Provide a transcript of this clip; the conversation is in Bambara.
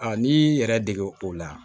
n'i y'i yɛrɛ dege o la